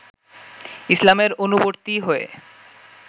ইসলামের অনুবর্তী হয়ে